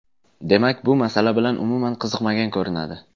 Demak, bu masala bilan umuman qiziqmagan ko‘rinadi.